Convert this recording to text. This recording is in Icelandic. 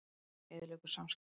Lekinn eyðileggur samskipti